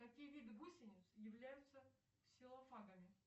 какие виды гусениц являются ксилофагами